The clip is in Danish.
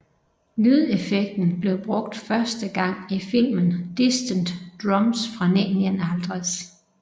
Lydeffekten blev brugt første gang i filmen Distant Drums fra 1951